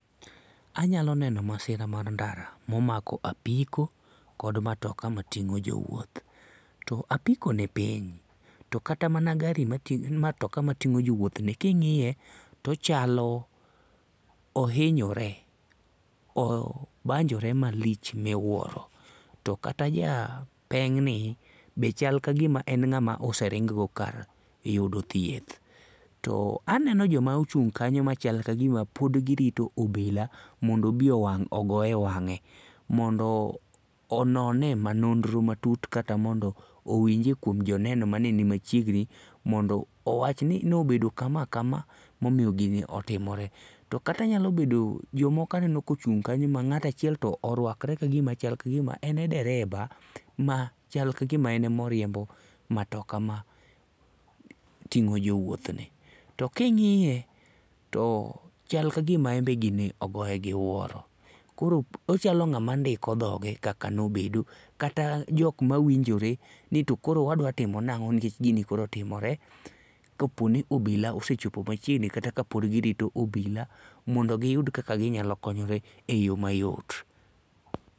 Anyalo neno masira mar ndara momako apko kod matoka mating'o jowuoth. To apiko ni piny to kata mana gari matoka mating'o jowuoth ni king'iye to ochalo ohinyore, obanjore malich miwuoro to kata ja peng' ni be chal kagima en ng'ama ose ring go kar yudo thieth. To aneno joma ochung' kanyo machalo ka gima pod girito obila mondo obi owang' ogoye wang'e mondo onone manono matut kata mondo owinjie kuom jo neno mane nima chiegni mondo owach ni ne obedo kama kama momiyo gini otimore. To kata nyalo bedo jomoko aneno kochung' kanyo ma ng'ato achiel to oruakre machal kagma en e dereva machal kagima en ema oriembo matoka mating'o jowuothni. To ka ing'iye to chal kagima en be gini ogoye gi wuoro koro ochalo ng'ama ndiko dhoge kaka nobedo kata jok mawinjore ni koro wadwa timo nang'o nikech gini koro otimore kopo ni obilaosechopo machiegni kata kapod girito obila mondo giyud kaka ghinyalo konyre e yo mayot.